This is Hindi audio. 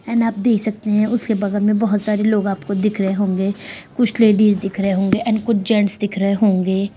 एन आप देख सकते हैं उसके बगल में बहुत सारे लोग आपको दिख रहे होंगे| कुछ लेडीज़ दिख रहे होंगे एंड कुछ जेंट्स दिख रहे होंगे।